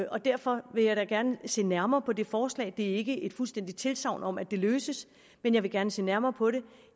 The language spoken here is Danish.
og derfor vil jeg da gerne se nærmere på det forslag det er ikke et fuldstændigt tilsagn om at det løses men jeg vil gerne se nærmere på det